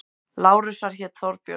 Lárusar hét Þorbjörg.